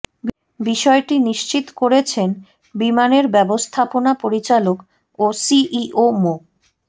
বিষয়টি নিশ্চিত করেছেন বিমানের ব্যবস্থাপনা পরিচালক ও সিইও মো